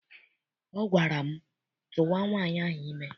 Ọ gwara m, tụwa nwaanyị ahụ ime!